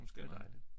Det er dejligt